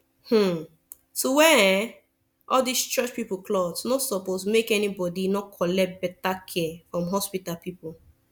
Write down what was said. hmn to wear ermm all these church pipu cloth nor suppos make any bodi nor collect beta care from hospita pipu